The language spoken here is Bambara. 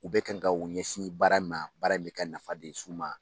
U bɛ ka kan ka u ɲɛsin baara in ma baara in bɛ ka nafa de s'u ma.